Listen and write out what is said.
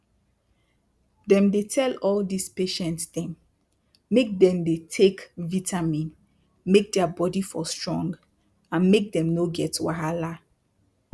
dem dey tell all dis patient dem make dem dey take vitamin make their bodi for strong and make dem no get wahala